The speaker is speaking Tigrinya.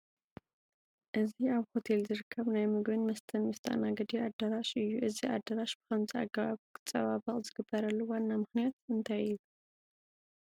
እዚ ኣብ ሆቴል ዝርከብ ናይ ምግብን መስተን መስተኣናገዲ ኣዳራሽ እዩ፡፡ እዚ ኣዳራሽ ብኸምዚ ኣገባብ ክፀባበቕ ዝግበረሉ ዋና ምኽንያት እንታይ እዩ?